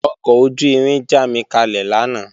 Ọkọ̀ ojú-irin jámikalẹ̀ lánàá